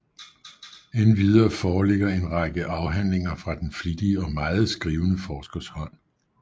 Endvidere foreligger en række afhandlinger fra den flittige og meget skrivende forskers hånd